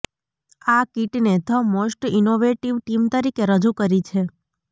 આ કિટને the most innovative team તરીકે રજૂ કરી છે